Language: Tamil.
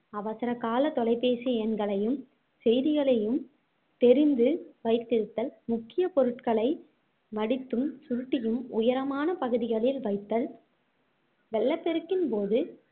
அவசரகால தொலைபேசி எண்களையும் செய்திகளையும் தெரிந்து வைத்திருத்தல் முக்கிய பொருட்களை மடித்தும் சுருட்டியும் உயரமான பகுதிகளில் வைத்தல் வெள்ளப்பெருக்கின் போது